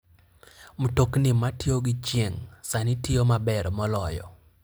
Mtokni matiyo gi chieng' sani tiyo maber moloyo.